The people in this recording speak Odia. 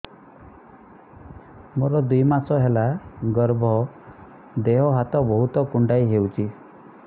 ମୋର ଦୁଇ ମାସ ହେଲା ଗର୍ଭ ଦେହ ହାତ ବହୁତ କୁଣ୍ଡାଇ ହଉଚି